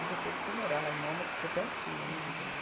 E depois eu fui morar lá em Mônaco, que é pertinho, né de Génova. Uhum.